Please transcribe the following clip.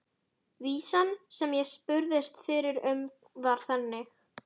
Vísan sem ég spurðist fyrir um var þannig